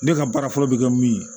Ne ka baara fɔlɔ bɛ kɛ min ye